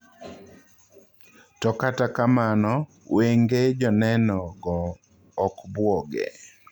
To kata kamano wenge joneno go okbuoge